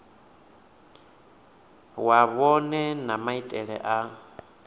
wa vhohe na maitele a